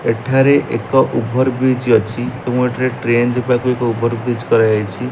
ଏଠାରେ ଏକ over bridge ଅଛି ଏବଂ ଏଠାରେ ଟ୍ରେନ୍ ଯିବାକୁ ଏକ ଉଭର ବ୍ରିଜ କରା ଯାଇଛି।